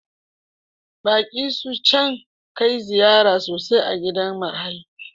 Baki su can kai ziyara sosai a gidan marayu.